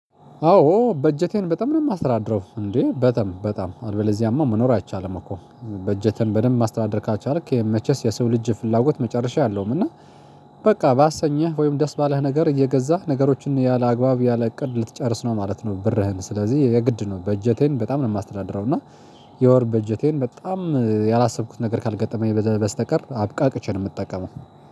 አዎ በጀቴን በጣም ነው የማስተዳድረው እንዴ በጣም በጣም አልበለዚያማ መኖር አይቻልም። እኮ በጀቴን በደንብ ማስተዳደር ካልቻልክ መቼስ የሰው ልጅ ፍላጎት መጨረሻ የለውም። እና በቃ ባሰኘህ ወይም ደስ ባለህ ነገር እየገዛህ ነገሮችን ያለአግባብ ያለእቅድ ልትጨርስ ነው ማለት ነው። ብርህን ስለዚህ የግድ ነው። በጀቴን በጣም ነው የማስተዳድረው እና የወር በጀቴን በጣም ያላሰብኩት ነገር ካልገጠመኝ በስተቀር አብቃቅቼ ነው የምጠቀመው